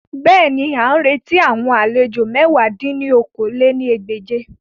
Bẹ́ẹ̀ni, a n reti awon alejo mẹ̀wá dín ní okòó-lé-ní-ẹgbẹ́je